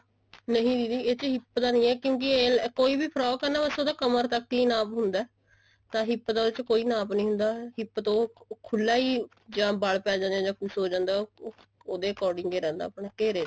ਨਹੀਂ ਦੀਦੀ ਇਹਦੇ ਚ hip ਦਾ ਨਹੀਂ ਐ ਕਿਉਂਕਿ ਕੋਈ ਵੀ frock ਐ ਨਾ ਬੱਸ ਉਹਦਾ ਕਮਰ ਤੱਕ ਹੀ ਨਾਪ ਹੁੰਦਾ ਤਾਂ hip ਦਾ ਇਹਦੇ ਚ ਕੋਈ ਨਾਪ ਨਹੀਂ ਹੁੰਦਾ hip ਤੋਂ ਖੁੱਲਾ ਹੀ ਜਾ ਬਲ ਪੈ ਜਾਂਦੇ ਨੇ ਜਾ ਕੁੱਝ ਹੋ ਜਾਂਦਾ ਉਹਦੇ according ਹੀ ਰਹਿੰਦਾ ਆਪਣੇ ਘੇਰੇ ਦੇ